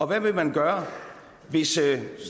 hvad vil man gøre